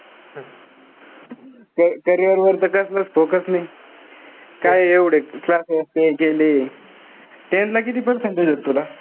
ते carrier वर तर कसलंच focus नाई. काय एवढे classes ते केले. Tenth ला किति percentage होते तुला?